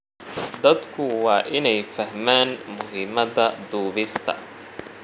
Dadku waa inay fahmaan muhiimada duubista.